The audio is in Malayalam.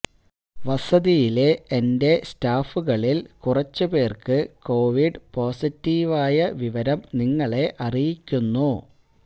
വസതിയിലെ എന്റെ സ്റ്റാഫുകളില് കുറച്ച് പേര്ക്ക് കോവിഡ് പൊസിറ്റീവായ വിവരം നിങ്ങളെ അറിയിക്കുന്നു